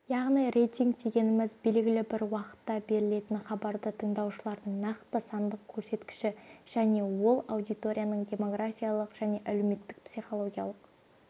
яғни рейтинг дегеніміз белгілі бір уақытта берілетін хабарды тыңдаушылардың нақты сандық көрсеткіші және ол аудиторияның демографиялық және әлеуметтік-психологиялық